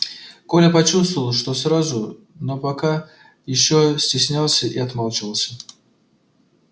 коля почувствовал что сразу но пока ещё стеснялся и отмалчивался